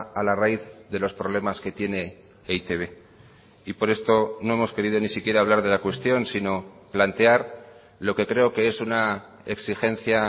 a la raíz de los problemas que tiene e i te be y por esto no hemos querido ni siquiera hablar de la cuestión sino plantear lo que creo que es una exigencia